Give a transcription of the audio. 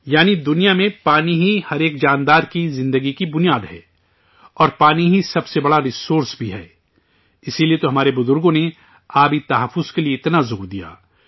یعنی، دنیا میں، پانی ہی، ہر ایک جاندار کی زندگی کی بنیاد ہے اور پانی ہی سب سے بڑا ذریعہ بھی ہے، اسی لیے تو ہمارے آباء و اجداد نے پانی کے تحفظ کے لیے اتنا زور دیا